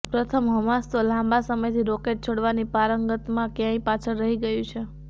પ્રથમ હમાસ તો લાંબા સમયથી રોકેટ છોડવાની પારંગતામાં ક્યાંય પાછળ રહી ગયું છે